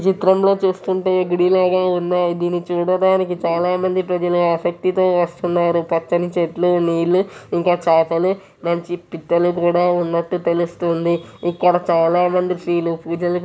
ఈ చిత్రంలో చూస్తుంటే ఇది గుడిలాగే ఉన్నాయి దీనిని చూడడానికి చాలామంది ప్రజలు ఆసక్తితో వస్తున్నారు పచ్చని చెట్లు నీళ్లు ఇంకా చాపలు మంచి పిట్టలు కూడా ఉన్నట్టు తెలుస్తుంది ఇక్కడ చాలామంది స్త్రీలు పూజలు --